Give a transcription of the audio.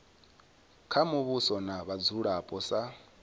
kha muvhuso na vhadzulapo sa